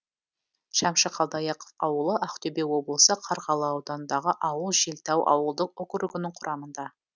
шәмші қалдаяқов ауылы ақтөбе облысы қарғалы ауданындағы ауыл желтау ауылдық округінің құрамында